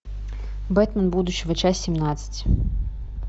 бэтмен будущего часть семнадцать